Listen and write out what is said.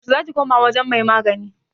yaushe za ki koma wajen mai magani?